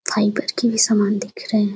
fibre की भी सामान दिख रहे --